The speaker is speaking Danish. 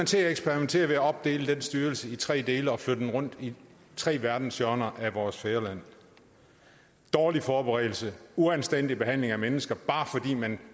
til at eksperimentere ved at opdele den styrelse i tre dele og flytte dem rundt i tre verdenshjørner af vores fædreland dårlig forberedelse uanstændig behandling af mennesker bare fordi man